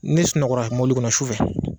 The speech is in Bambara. N'e sunɔgɔra mɔbili kɔnɔ sufɛ.